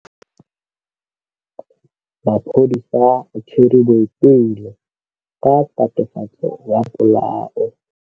Maphodisa a tshwere Boipelo ka tatofatsô ya polaô.